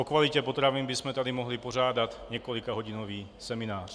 O kvalitě potravin bychom tady mohli pořádat několikahodinový seminář.